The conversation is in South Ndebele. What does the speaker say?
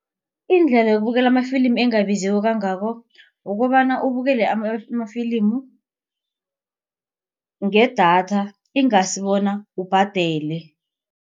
Indlela yokubukela amafilimi engabizi kangako. Kukobana ubukele amafilimu ngedatha ingasi bona ubhadele.